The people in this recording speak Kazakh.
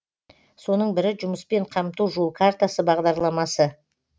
соның бірі жұмыспен қамту жол картасы бағдарламасы